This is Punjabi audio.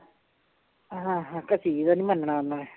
ਹਾਂ ਦਾ ਨੀ ਮੰਨਣਾ ਉਹਨਾਂ ਨੇ